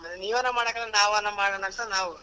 ನೀವೇನು ಮಾಡಕ್ಕಾಗಲ್ಲ ನಾವೇನ ಮಾಡಣ ಅಂತ ನಾವ್ .